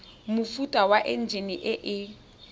mofuta wa enjine e e